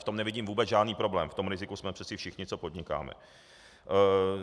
V tom nevidím vůbec žádný problém, v tom riziku jsme přece všichni, co podnikáme.